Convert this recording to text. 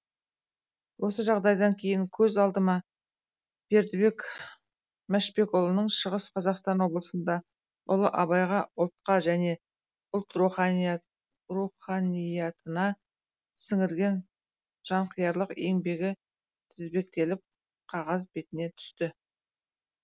осы жағдайдан кейін көз алдыма бердібек мәшбекұлының шығыс қазақстан облысында ұлы абайға ұлтқа және ұлт руханиятына сіңірген жанқиярлық еңбегі тізбектеліп қағаз бетіне түсті